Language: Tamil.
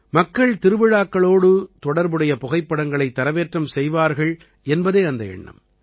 மக்கள் திருவிழாக்களோடு தொடர்புடைய புகைப்படங்களை தரவேற்றம் செய்வார்கள் என்பதே அந்த எண்ணம்